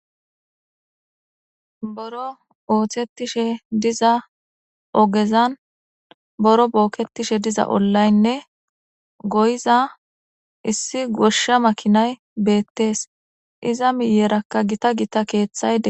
Biron ooththettishe diza ogezan biron booketishe diza ollaynne goyiza issi goshsha makinay beettees. Iza miyeerakka gita gita keeththay dees.